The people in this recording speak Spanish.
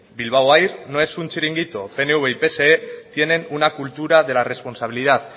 bilbao air no es un chiringuito pnv y pse tienen una cultura de la responsabilidad